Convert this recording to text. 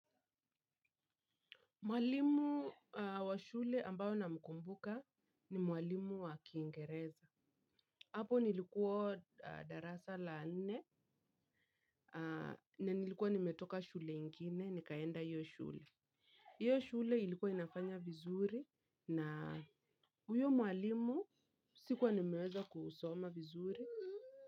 Mwalimu wa shule ambaye namkumbuka ni mwalimu wa kiingereza. Hapo nilikuwa darasa la nne. Na nilikuwa nimetoka shule ingine, nikaenda hiyo shule. Hiyo shule ilikuwa inafanya vizuri na huyo mwalimu sikuwa nimeweza kusoma vizuri.